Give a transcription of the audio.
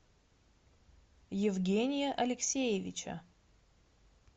евгения алексеевича